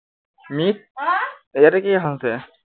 এইয়াতে কি এখন আছে